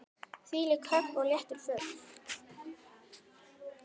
Þvílíkt högg og léttur fugl.